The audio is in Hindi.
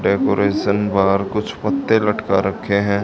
डेकोरेशन बाहर कुछ पत्ते लटका रखे हैं।